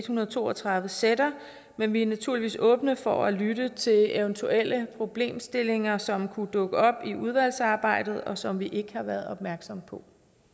hundrede og to og tredive sætter men vi er naturligvis åbne over for at lytte til eventuelle problemstillinger som kunne dukke op i udvalgsarbejdet og som vi ikke har været opmærksomme på